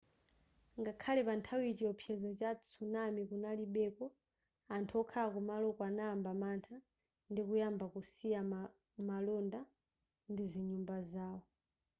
ngakhale panthawiyi chiwopsezo cha tsunami kunalibeko anthu okhala kumaloko anayamba mantha ndikuyamba kusiya malonda ndi zinyumba zawo